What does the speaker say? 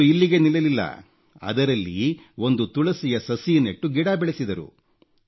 ಅವರು ಇಲ್ಲಿಗೆ ನಿಲ್ಲಲಿಲ್ಲ ಅದರಲ್ಲಿ ಒಂದು ತುಳಸಿಯ ಸಸಿ ನೆಟ್ಟು ಗಿಡ ಬೆಳೆಸಿದರು